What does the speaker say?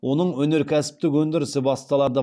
оның өнеркәсіптік өндірісі басталады